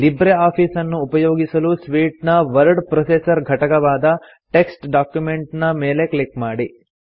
Libre office ಅನ್ನು ಉಪಯೋಗಿಸಲು suite ನ ವರ್ಡ್ ಪ್ರೊಸೆಸರ್ ಘಟಕವಾದ ಟೆಕ್ಸ್ಟ್ ಡಾಕ್ಯುಮೆಂಟ್ ನ ಮೇಲೆ ಕ್ಲಿಕ್ ಮಾಡಿ